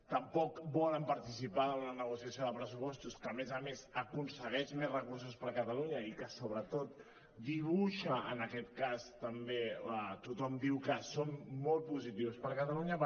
tampoc volen participar en la negociació de pressupostos que a més a més aconsegueix més recursos per catalunya i que sobretot dibuixa en aquest cas també tothom diu que són molt positius per catalunya